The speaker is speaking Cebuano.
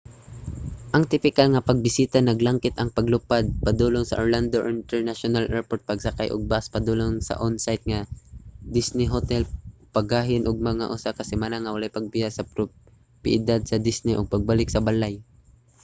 ang tipikal nga pagbisita naglangkit ang paglupad padulong sa orlando international airport pagsakay og bus padulong sa on-site nga disney hotel paggahin og mga usa ka semana nga walay pagbiya sa propiedad sa disney ug pagbalik sa balay